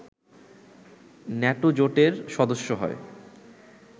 NATO জোটের সদস্য হয়